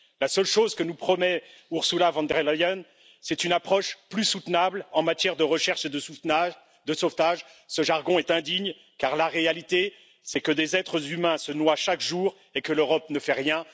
La seule chose que nous promet Ursula von der Leyen, c'est une approche plus soutenable en matière de recherche et de sauvetage. Ce jargon est indigne car la réalité, c'est que des êtres humains se noient chaque jour et que l'Europe ne fait rien!